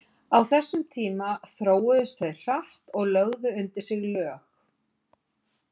Á þessum tíma þróuðust þau hratt og lögðu undir sig lög.